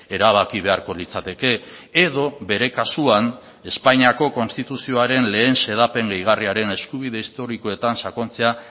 erabaki beharko litzateke edo bere kasuan espainiako konstituzioaren lehen xedapen gehigarriaren eskubide historikoetan sakontzea